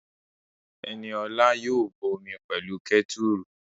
Ẹniola yóò bọ omi pẹ̀lú kẹ́tùrù